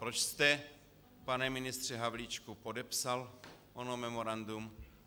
Proč jste, pane ministře Havlíčku, podepsal ono memorandum?